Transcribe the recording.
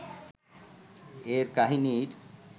এর কাহিনীর